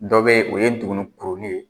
Dɔ bɛ yen o ye ntuguni kurunin ye.